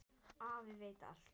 Afi veit allt.